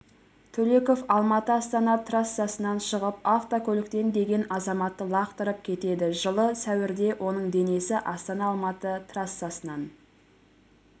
төлеков алматы-астана трассасынан шығып автокөліктен деген азаматты лақтырып кетеді жылы сәуірде оның денесі астана-алматы трассасынан